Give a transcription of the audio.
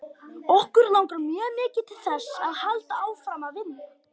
Okkur langar mjög mikið til þess að halda áfram að vinna.